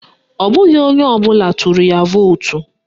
Ọ bụghị onye ọbụla tụrụ ya vootu